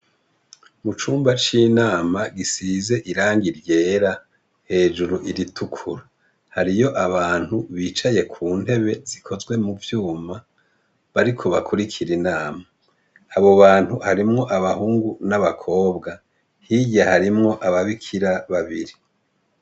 Mucumba c’inama gisize irangi ryera, hejuru iritukura. Hariyo abantu bicaye kuntebe zikozwe muvyuma, bariko bakurikira Inama. Abo Bantu harimwo abahungu n’abakobwa. Hirya harimwo ababikira babiri.